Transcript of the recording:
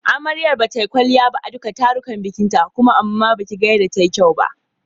Amaryar bata yi kwalliya ba a duka tarukan bikinta kuma amma baki ga yanda ta yi kyau ba.